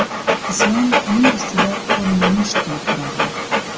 Islom uning ustida qo‘lini musht qilib turardi.